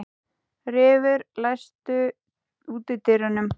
Refur, læstu útidyrunum.